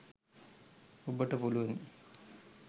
ඔබට පුළුවනි